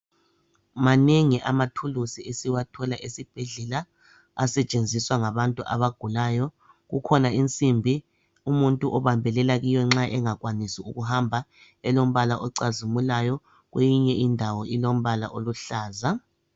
Manengi amathuluzi esiwathola esibhedlela asetshenziswa ngabantu abagulayo, kukhona insimbi umuntu obambelela kuyo nxa engakwanisi ukuhamba elombala ocazimulayo kweyinye indawo ilombala oluhlaza.